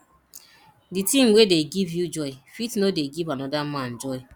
di thing wey dey give you joy fit no dey give anoda man joy